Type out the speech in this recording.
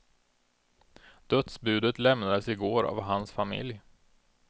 Dödsbudet lämnades i går av hans familj.